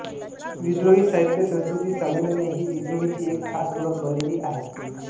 विद्रोही साहित्य संस्कृती संमेलने ही विद्रोहीची एक खास ओळख बनलेली आहे